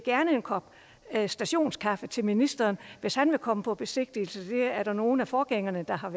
en kop stationskaffe til ministeren hvis han vil komme på besigtigelse det er der nogle af forgængerne der har